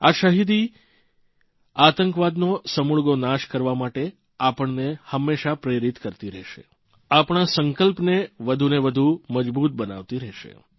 આ શહીદી આતંકવાદનો સમૂળગો નાશ કરવા માટે આપણને હંમેશા પ્રેરીત કરતી રહેશે આપણા સંકલ્પને વધુને વધુ મજબૂત બનાવતી રહેશે